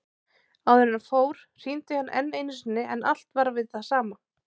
Áður en hann fór hringdi hann enn einu sinni en allt var við það sama.